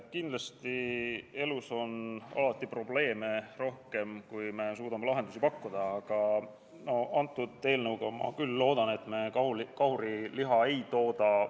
Kindlasti elus on alati probleeme rohkem, kui me suudame lahendusi pakkuda, aga antud eelnõuga ma küll loodan, et me kahuriliha ei tooda.